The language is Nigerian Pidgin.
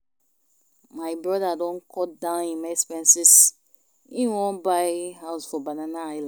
My broda don cut down im expenses, im wan buy house for Banana island.